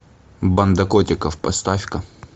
банда котиков поставь ка